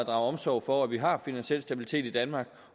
omsorg for at vi har finansiel stabilitet i danmark